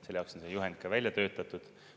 Selle jaoks on see juhend ka välja töötatud.